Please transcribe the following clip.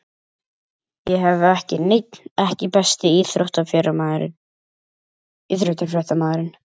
Ég hef ekki neinn EKKI besti íþróttafréttamaðurinn?